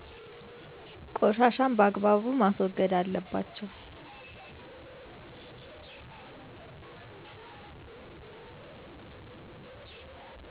ቆሻሻን በአግባቡ ማስወገድ አለባቸው